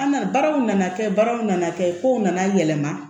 An nana baaraw nana kɛ baaraw nana kɛ kow nana yɛlɛma